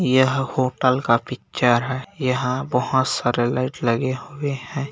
यह होटल का पिक्चर है यहाँ बहोत सारे लाइट लगे हुए हैं।